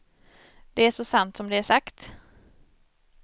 Det är så sant som det är sagt.